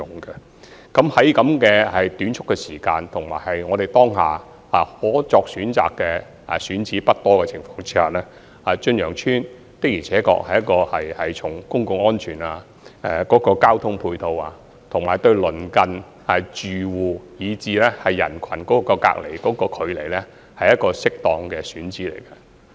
在如此短促的時間，以及當下選址不多的情況下，從公共安全、交通配套，以及對鄰近住戶以至人群隔離距離來看，駿洋邨的確是一個適當的選址。